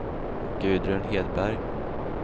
Gudrun Hedberg